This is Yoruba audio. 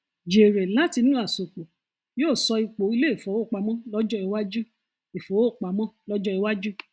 jèrè látinú àsopọ yóò sọ ipo ilé ìfowópamọ lọjọ iwájú ìfowópamọ lọjọ iwájú